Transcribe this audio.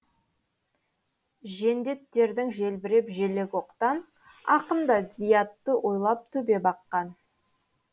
жендеттердің желбіреп желегі оқтан ақын да зиятты ойлап төбе баққан